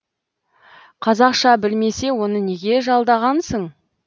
қазақша білмесе оны неге жалдағансың